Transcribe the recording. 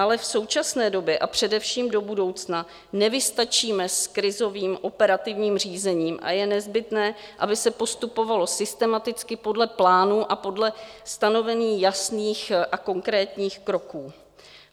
Ale v současné době a především do budoucna nevystačíme s krizovým operativním řízením a je nezbytné, aby se postupovalo systematicky podle plánů a podle stanoveních jasných a konkrétních kroků.